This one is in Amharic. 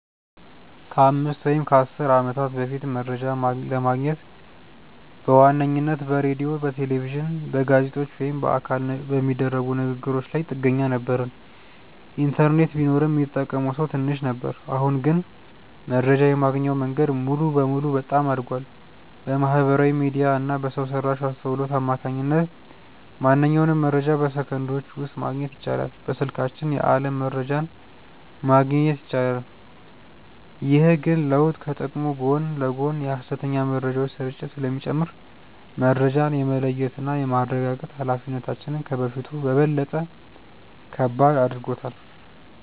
ከአምስት ወይም ከአሥር ዓመታት በፊት መረጃ ለማግኘት በዋነኝነት በሬዲዮ፣ በቴሌቪዥን፣ በጋዜጦች ወይም በአካል በሚደረጉ ንግ ግሮች ላይ ጥገኛ ነበርን። ኢንተርኔት ቢኖርም ሚጠቀመው ሰው ትንሽ ነበር። አሁን ግን መረጃ የማግኛው መንገድ ሙሉ በሙሉ በጣም አድጓል። በማህበራዊ ሚዲያ እና በሰው ሰራሽ አስውሎት አማካኝነት ማንኛውንም መረጃ በሰከንዶች ውስጥ ማግኘት ይቻላል። በስልካችን የዓለም መረጃን ማግኘት ይቻላል። ግን ይህ ለውጥ ከጥቅሙ ጎን ለጎን የሐሰተኛ መረጃዎች ስርጭትን ስለሚጨምር፣ መረጃን የመለየትና የማረጋገጥ ኃላፊነታችንን ከበፊቱ በበለጠ ከባድ አድርጎታል።